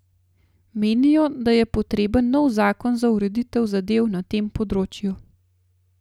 Menijo, da je potreben nov zakon za ureditev zadev na tem področju.